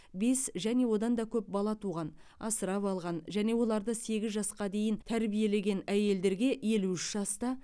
бес және одан да көп бала туған асырап алған және оларды сегіз жасқа дейін тәрбиелеген әйелдерге елу үш жаста